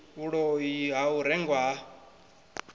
vhuloi ha u rengwa ha